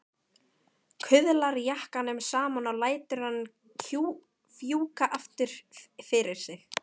Kuðlar jakkanum saman og lætur hann fjúka aftur fyrir sig.